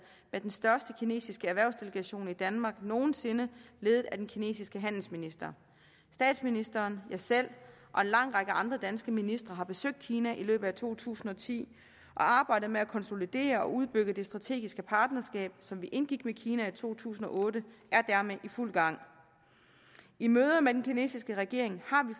med den største kinesiske erhvervsdelegation i danmark nogen sinde ledet af den kinesiske handelsminister statsministeren jeg selv og en lang række andre ministre har besøgt kina i løbet af to tusind og ti og arbejdet med at konsolidere og udbygge det strategiske partnerskab som vi indgik med kina i to tusind og otte er dermed i fuld gang i møder med den kinesiske regering